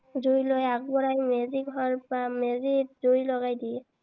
জুই লৈ আগবঢ়াই মেজি ঘৰ বা মেজিত জুই লগাই দিয়ে।